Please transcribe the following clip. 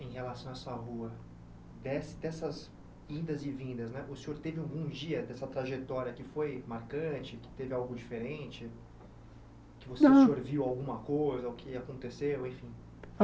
em relação a essa rua, de dessas indas e vindas né, o senhor teve algum dia dessa trajetória que foi marcante, que teve algo diferente, que você Não O senhor viu alguma coisa, o que aconteceu, enfim?